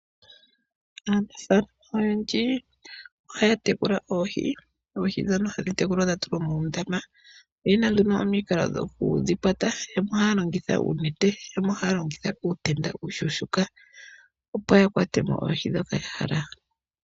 Aanafaalama oyendji ohaya tekula oohi ,oohi ndhono hadhi tekulwa dhatulwa muundama oyena nduno omikalo dhokudhi kwata, yamwe ohaya longitha oonete yamwe ohaya longitha uutenda uushuushuuka opo yakwatemo oohi ndhoka yahala.